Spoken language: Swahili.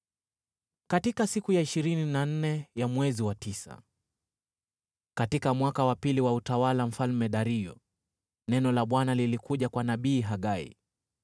Katika siku ya ishirini na nne ya mwezi wa tisa, katika mwaka wa pili wa utawala wa Mfalme Dario, neno la Bwana lilikuja kwa nabii Hagai: